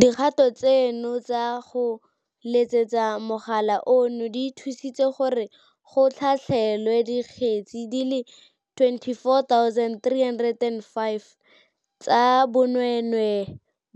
Dikgato tseno tsa go letsetsa mogala ono di thusitse gore go tlhatlhelwe dikgetse di le 24 035 tsa bonweenwee,